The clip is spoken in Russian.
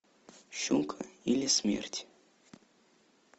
щука или смерть